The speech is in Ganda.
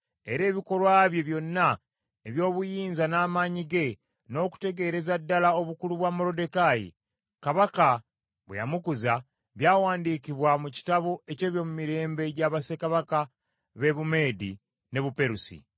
Era ebikolwa bye byonna eby’obuyinza n’amaanyi ge, n’okutegeereza ddala obukulu bwa Moluddekaayi, Kabaka bwe yamukuza, byawandiikibwa mu kitabo eky’ebyomumirembe gya bassekabaka b’e Bumeedi n’e Buperusi.